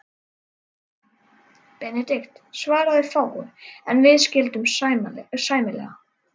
Benedikt svaraði fáu, en við skildum sæmilega.